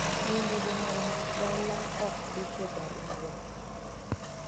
nyine jonyual mag dala ok ndik e barua